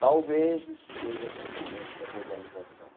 Talvez isso seja consequência da globalização.